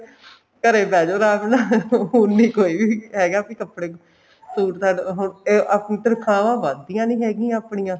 ਘਰੇ ਬਹਿ ਜੋ ਆਰਾਮ ਨਾਲ ਹੁਣ ਨੀ ਕੋਈ ਵੀ ਹੈਗਾ ਕੱਪੜੇ suit ਸਾਟ ਅਹ ਹੁਣ ਤਨਖਾਵਾਂ ਵੱਧਦੀਆਂ ਨੀ ਹੈਗਿਆ ਆਪਣੀਆ